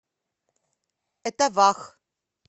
этавах